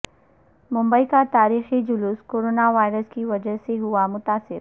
ممبئی کا تاریخی جلوس کورونا وائرس کی وجہ سے ہوا متاثر